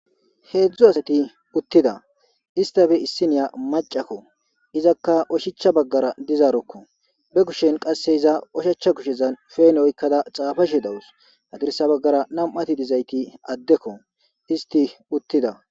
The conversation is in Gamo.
Heedzdzu asati uttida ista be issiniya macakko izakka oshicha baggara dizaarokko be kushen qasse iza oshacha kushezan feene oykkada xaafa shi dawus hagirsa baggara nam'ati dizayti addekko isti uttida.